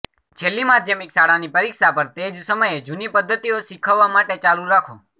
છેલ્લી માધ્યમિક શાળાની પરીક્ષા પર તે જ સમયે જૂની પદ્ધતિઓ શીખવવા માટે ચાલુ રાખો